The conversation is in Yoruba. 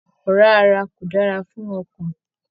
Ọra ará kò dára fún ọkàn.